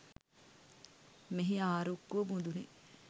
මෙහි ආරුක්කුව මුදුනේ